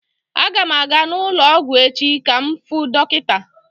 Aga m aga n'ụlọ ọgwụ echi ka m fuu dọkịta.